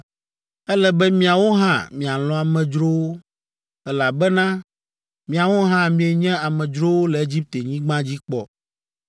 Ele be miawo hã mialɔ̃ amedzrowo, elabena miawo hã mienye amedzrowo le Egiptenyigba dzi kpɔ.